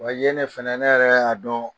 Wa yen ne fɛnɛ ne yɛrɛ y'a dɔn.